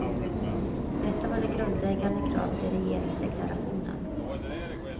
Detta var det grundläggande kravet i regeringsdeklarationen.